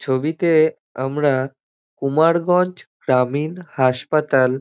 ছবিতে আমরা কুমারগঞ্জ গ্রামীণ হাসপাতাল--